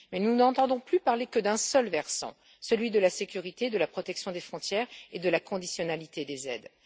Mais nous n'entendons plus parler que d'un seul versant, celui de la sécurité, de la protection des frontières et de la conditionnalité des aides.